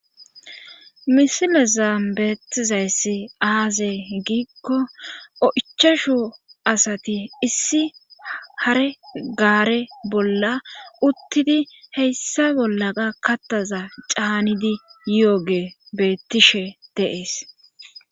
Misileza beettizayssi aaze giikko o'ichashu asati issi hare gaare bolla uttidi heyssa bolla ga kattaza caanidi yo'oge beettishe deees.